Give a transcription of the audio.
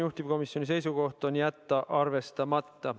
Juhtivkomisjoni seisukoht on jätta see arvestamata.